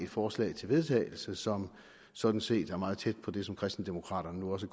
forslag til vedtagelse som sådan set ligger meget tæt på det som kristendemokraterne nu også